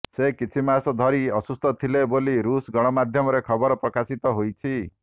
ସେ କିଛି ମାସ ଧରି ଅସୁସ୍ଥ ଥିଲେ ବୋଲି ରୁଷ ଗଣମାଧ୍ୟମରେ ଖବର ପ୍ରକାଶିତ ହୋଇଛି